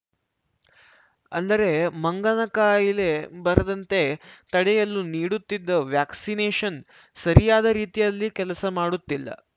ಅಂದರೆ ಮಂಗನ ಕಾಯಿಲೆ ಬಾರದಂತೆ ತಡೆಯಲು ನೀಡುತ್ತಿದ್ದ ವ್ಯಾಕ್ಸಿನೇಶನ್‌ ಸರಿಯಾದ ರೀತಿಯಲ್ಲಿ ಕೆಲಸ ಮಾಡುತ್ತಿಲ್ಲ